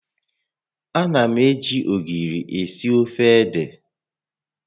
Ana m eji ogiri eai ofe ede